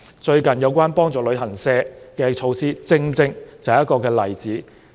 最近有關幫助旅行社的措施，正正就是一個例子。